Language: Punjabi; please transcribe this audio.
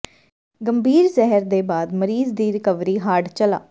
ਗੰਭੀਰ ਜ਼ਹਿਰ ਦੇ ਬਾਅਦ ਮਰੀਜ਼ ਦੀ ਰਿਕਵਰੀ ਹਾਰਡ ਚਲਾ